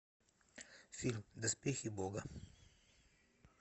фильм доспехи бога